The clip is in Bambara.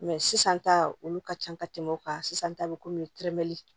sisan ta olu ka ca ka tɛmɛ o kan sisan ta bɛ komi terimɛli